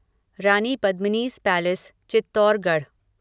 Rani Padmini's palace Chittorgarh